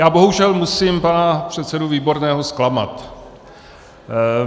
Já bohužel musím pana předsedu Výborného zklamat.